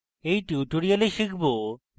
in tutorial আমরা শিখব: